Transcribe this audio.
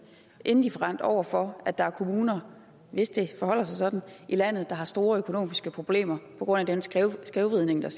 indifferent over for at der er kommuner hvis det forholder sig sådan i landet der har store økonomiske problemer på grund af den skævvridning der